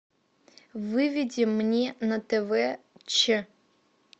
выведи мне на тв че